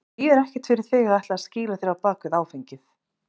Það þýðir ekkert fyrir þig að ætla að skýla þér á bak við áfengið.